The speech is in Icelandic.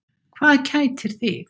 Hvað kætir þig?